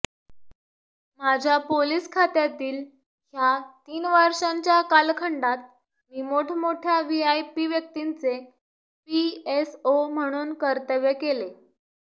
माझ्या पोलीस खात्यातील ह्या तीन वर्षांच्या कालखंडात मी मोठमोठ्या व्हीव्हीआयपी व्यक्तींचे पीएसओ म्हणून कर्तव्य केले